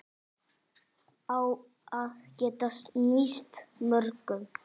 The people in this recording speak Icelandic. Á að geta nýst mörgum